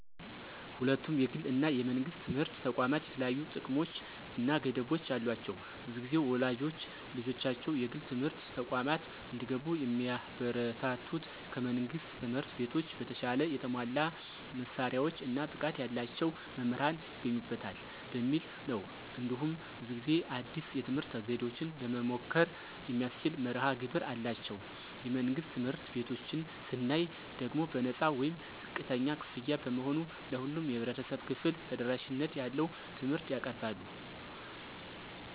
ሁለቱም የግል እና የመንግሥት ትምህርት ተቋማት የተለያዩ ጥቅሞች እና ገደቦች አሏቸው። ብዙ ጊዜ ወላጆች ልጆቻቸው የግል ትምህርት ተቋማት እንዲገቡ የሚያበረታቱት ከመንግሥት ትምህርት ቤቶች በተሻለ የተሟላ መሳሪያዎች እና ብቃት ያላቸው መምህራን ይገኙበታል በሚል ነው። እንዲሁም ብዙ ጊዜ አዲስ የትምህርት ዘዴዎችን ለመሞከር የሚያስችል መርሀ ግብር አላቸው። የመንግሥት ትምህርት ቤቶችን ስናይ ደግሞ በነፃ ወይም ዝቅተኛ ክፍያ በመሆኑ ለሁሉም የህብረተሰብ ክፍል ተደራሽነት ያለው ትምህርት ያቀርባሉ።